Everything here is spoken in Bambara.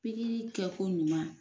Pikiri kɛ ko ɲuman.